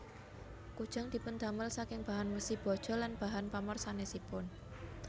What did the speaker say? Kujang dipundamel saking bahan wesi baja lan bahan pamor sanésipun